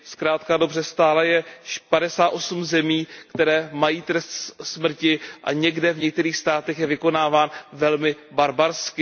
Zkrátka a dobře stále je padesát osm zemí, které mají trest smrti, a v některých státech je vykonáván velmi barbarsky.